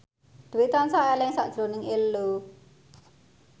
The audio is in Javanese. Dwi tansah eling sakjroning Ello